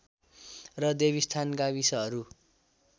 र देवीस्थान गाविसहरू